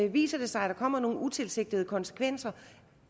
viser det sig at der kommer nogle utilsigtede konsekvenser